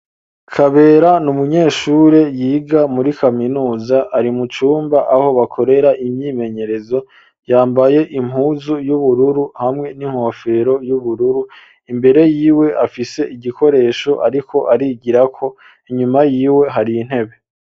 Kabera n'umunyeshure yiga muri kaminuza ari mucumba aho bakorera imyimenyerezo yambaye impuzu y'ubururu hamwe n'inkofero y'ubururu imbere yiwe afise igikoresho ariko arigira ko inyuma yiwe hari intebe.